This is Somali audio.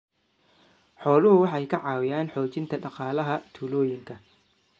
Xooluhu waxay ka caawiyaan xoojinta dhaqaalaha tuulooyinka.